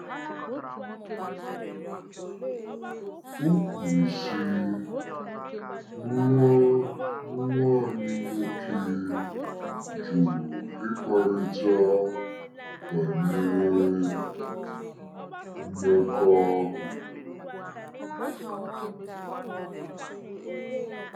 O kwuru, sị: “Nwa “Nwa anyị nwoke jụrụ ịkparịta banyere mmekọahụ.